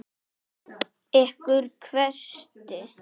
Ykkur hvæsti Halli.